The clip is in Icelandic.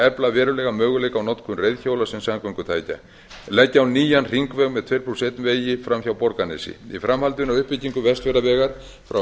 efla verulega möguleika á notkun reiðhjóla sem samgöngutækja leggja á nýjan hringveg með tuttugu og eitt vegi fram hjá borgarnesi í framhaldinu á uppbyggingu vestfjarðavegar frá